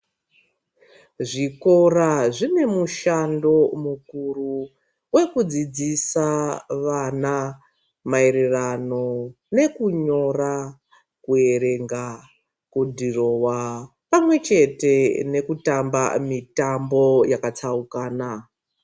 Zvikora zvine mushando mukuru wekudzidzisa vana maererano nekunyora kuerenga kudhirowa pamwechete nekutamba mitambo yakatsaukana.